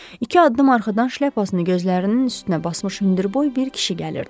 İki addım arxadan şlyapasını gözlərinin üstünə basmış hündürboy bir kişi gəlirdi.